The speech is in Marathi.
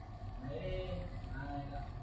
नाय रा